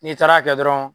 N'i taara kɛ dɔrɔn